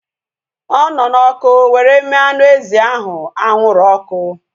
Ọ nọ na ọkụ were mee anụ ezi ahụ anwụrụ ọkụ